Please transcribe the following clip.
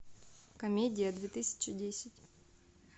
комедия две тысячи десять